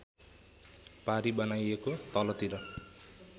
पारी बनाइएको तलतिर